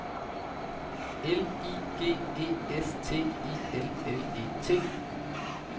L I G E S T I L L E T